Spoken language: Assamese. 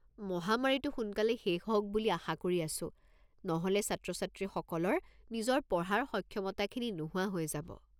মহামাৰীটো সোনকালে শেষ হওক বুলি আশা কৰি আছো, নহ’লে ছাত্ৰ-ছাত্ৰীসকলৰ নিজৰ পঢ়াৰ সক্ষমতাখিনি নোহোৱা হৈ যাব।